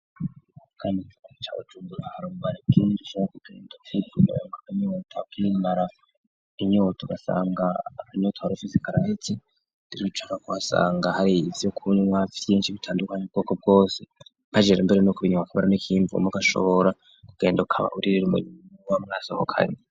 kani f cabcungura harubarekin sen kugenda fitmyongaanitakinaraf inyoto gasanga akanoto arofi zikaraeki dirucaka kuhasanga hari ibyo kunwa byinshi bitandukanye ubwoko bwose bagera mbere no kubinyana kabara n'ikimvu mu gashobora kugenda ukaba uririre umurimo wa mwasohokanye